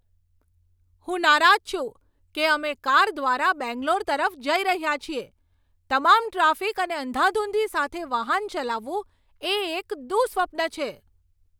હું નારાજ છું કે અમે કાર દ્વારા બેંગ્લોર તરફ જઈ રહ્યા છીએ. તમામ ટ્રાફિક અને અંધાધૂંધી સાથે વાહન ચલાવવું એ એક દુઃસ્વપ્ન છે!